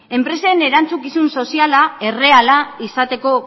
enpresen erantzukizun soziala erreala izateko